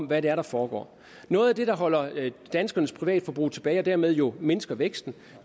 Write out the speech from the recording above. hvad der foregår noget af det der holder danskernes privatforbrug tilbage og dermed jo mindsker væksten